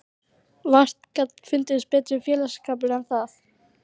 Vart gat fundist betri félagsskapur en það.